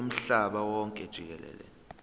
womhlaba wonke jikelele